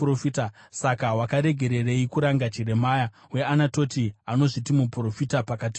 Saka wakaregererei kuranga Jeremia weAnatoti, anozviti muprofita pakati penyu?